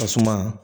Tasuma